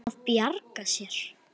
Að bjarga sér.